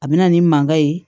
A bɛ na ni mankan ye